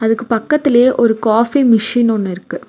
அதுக்கு பக்கத்திலேயே ஒரு காஃபி மிஷின் ஒன்னு இருக்கு.